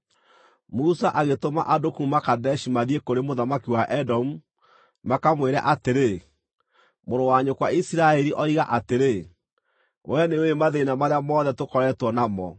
Musa agĩtũma andũ kuuma Kadeshi mathiĩ kũrĩ mũthamaki wa Edomu, makamwĩre atĩrĩ: “Mũrũ wa nyũkwa Isiraeli oiga atĩrĩ: Wee nĩũũĩ mathĩĩna marĩa mothe tũkoretwo namo.